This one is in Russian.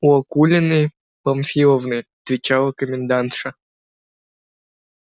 у акулины памфиловны отвечала комендантша